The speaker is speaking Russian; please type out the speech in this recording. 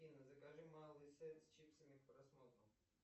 афина закажи малый сет с чипсами к просмотру